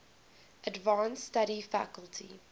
advanced study faculty